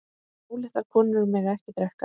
Óléttar konur mega ekki drekka.